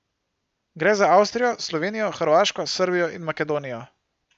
Gre za Avstrijo, Slovenijo, Hrvaško, Srbijo in Makedonijo.